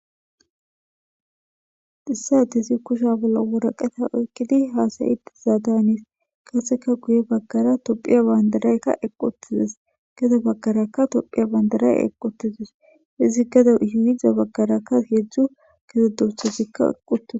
Issa ete si kusha bolla woraqeta oykkidi haasayiti zaadanis kaseka guye baggara tophiya bayndaraykka eqotizes geda baggarakka tophiya bandaray eqotizes izi geda hiyida baggaraka hedzdzu geze dursozikka eqotias